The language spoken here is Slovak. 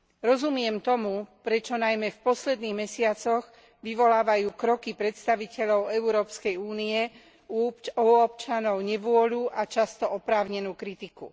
Rozumiem tomu, prečo najmä v posledných mesiacoch vyvolávajú kroky predstaviteľov Európskej únie u občanov nevôľu a často oprávnenú kritiku.